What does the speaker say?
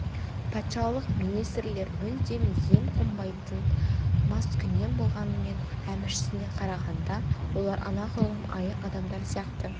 патшалық министрлер мүлдем ем қонбайтын маскүнем болғанымен әміршісіне қарағанда олар анағұрлым айық адамдар сияқты